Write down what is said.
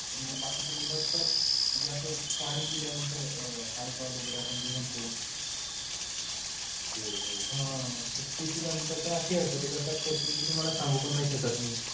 मग बाकीची मुलं असतात जसं पाणी पिल्यानंतर alcohol वगैरे जे आपण म्हणतो. हां ते पिल्यानंतर तशी हरकत करतात तर ते तुम्हाला सांगू पण नाही शकत मी.